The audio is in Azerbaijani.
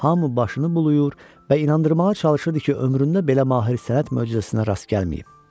Hamı başını buluyur və inandırmağa çalışırdı ki, ömründə belə mahir sənət möcüzəsinə rast gəlməyib.